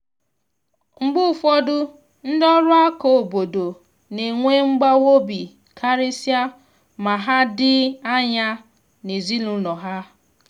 mgbe ụfọdụ ndị ọrụ aka obodo na enwe mgbawa obi karịsịa ma ha dị anya n’ezinụlọ ha.